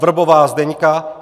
Vrbová Zdeňka